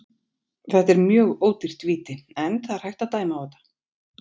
Þetta er mjög ódýrt víti en það er hægt að dæma á þetta.